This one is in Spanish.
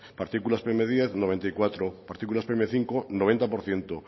partículas pe eme diez noventa y cuatro partículas pe eme cinco noventa por ciento